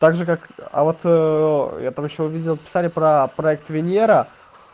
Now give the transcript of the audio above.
также как а вот я там ещё увидел писали про проект венера